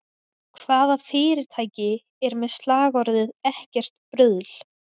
Hvaða fyrirtæki er með slagorðið ekkert bruðl?